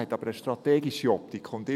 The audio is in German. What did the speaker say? Er hatte aber eine strategische Optik.